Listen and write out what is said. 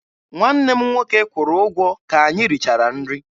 Nwanne m nwoke kwụrụ ụgwọ ka anyị richara nri.